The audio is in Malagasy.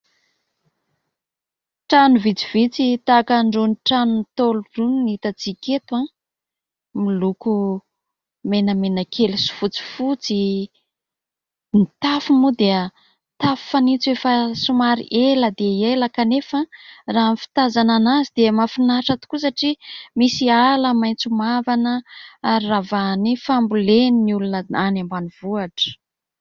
Trano vitsivitsy tahaka an'irony tranon'ny Ntaolo irony no hitantsika eto, miloko menamena kely sy fotsifotsy... Ny tafo moa dia tafo fanitso efa somary ela dia ela ; kanefa raha ny fitazanana azy dia mahafinahitra tokoa satria misy ala maitso mavana ary ravahan'ny fambolen'ny olona any ambanivohitra.